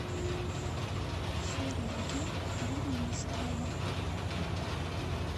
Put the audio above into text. сереги бурмистрова